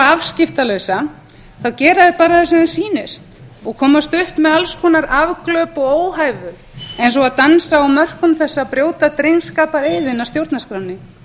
afskiptalausa þá gera þeir bara það sem þeim sýnist og komast upp með allskonar afglöp og óhæfu eins og að dansa á mörkum þess að brjóta drengskapareiðinn að stjórnarskránni